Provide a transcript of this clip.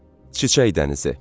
Çiçək dənizi.